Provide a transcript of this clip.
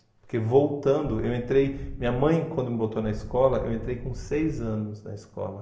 Porque voltando, eu entrei... Minha mãe, quando me botou na escola, eu entrei com seis anos na escola.